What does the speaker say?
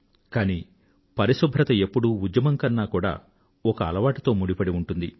కానీ పరిశుభ్రత ఎప్పుడూ ఉద్యమం కన్నా కూడా ఒక అలవాటుతో ముడిపడి ఉంటుంది